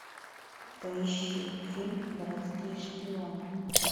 поищи фильм городские шпионы